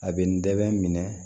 A bɛ n dɛmɛ